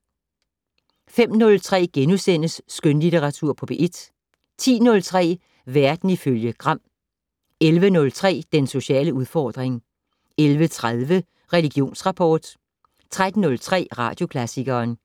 05:03: Skønlitteratur på P1 * 10:03: Verden ifølge Gram 11:03: Den sociale udfordring 11:30: Religionsrapport 13:03: Radioklassikeren